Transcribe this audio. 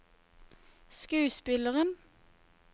skuespilleren